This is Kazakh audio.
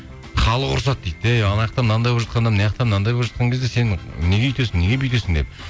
халық ұрысады дейді әй анаяқта мынандай болып жатқанда мынаяқта мынандай болып жатқан кезде сен неге өйтесің неге бүйтесің деп